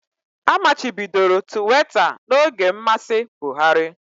Amachibidoro Tuweeta n'oge mmasị Buhari